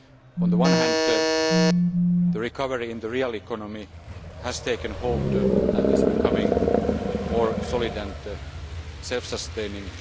On the one hand, the recovery in the real economy has taken hold and is becoming more solid and self sustaining.